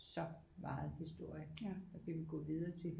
Så meget historie og vi kan gå videre til